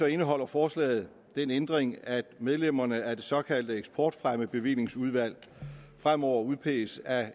indeholder forslaget den ændring at medlemmerne af det såkaldte eksportfremmebevillingsudvalg fremover udpeges af